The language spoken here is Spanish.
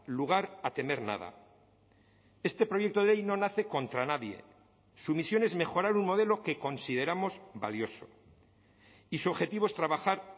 lugar a temer nada este proyecto de ley no nace contra nadie su misión es mejorar un modelo que consideramos valioso y su objetivo es trabajar